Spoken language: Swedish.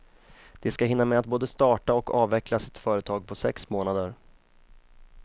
De ska hinna med att både starta och avveckla sitt företag på sex månader.